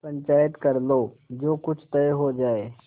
पंचायत कर लो जो कुछ तय हो जाय